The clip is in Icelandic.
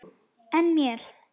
En mér?